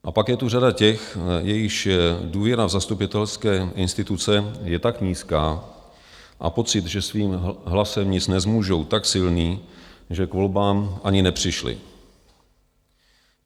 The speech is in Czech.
A pak je tu řada těch, jejichž důvěra v zastupitelské instituce je tak nízká, a pocit, že svým hlasem nic nezmůžou, tak silný, že k volbám ani nepřišli.